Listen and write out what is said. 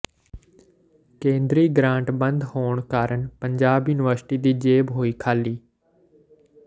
ਕੇਂਦਰੀ ਗਰਾਂਟ ਬੰਦ ਹੋਣ ਕਾਰਨ ਪੰਜਾਬ ਯੂਨੀਵਰਸਿਟੀ ਦੀ ਜੇਬ ਹੋਈ ਖਾਲੀ